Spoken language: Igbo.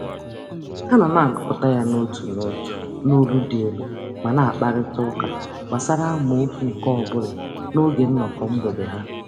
Ha nọ na-agụpụta ya n'otu n'otu n'olu dị elu ma na-akparịtaụka gbasara amaokwu nke ọbụla n'oge nnọkọ mgbede ha.